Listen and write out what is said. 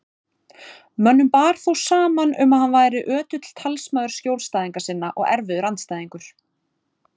Mönnum bar þó saman um að hann væri ötull talsmaður skjólstæðinga sinna og erfiður andstæðingur.